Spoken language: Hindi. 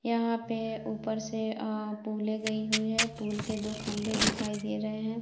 यहाँ पे ऊपर से अ पूले गई हुई है पुल के दो खंभे दिखाई दे रहे हैं।